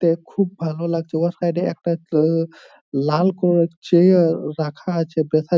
তে খুব ভালো লাগছে ওই সাইডে একটা কে লাল কালার এর চিয়ার রাখা আছে ।